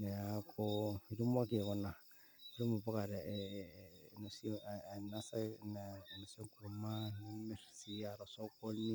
,niaku itumoki aikuna ainosie enkurma ,nimirr sii tiatua osokoni